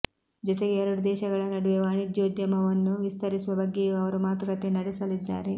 ಜೊತೆಗೆ ಎರಡು ದೇಶಗಳ ನಡುವೆ ವಾಣಿಜ್ಯೋದ್ಯಮವನ್ನು ವಿಸ್ತರಿಸುವ ಬಗ್ಗೆಯೂ ಅವರು ಮಾತುಕತೆ ನಡೆಸಲಿದ್ದಾರೆ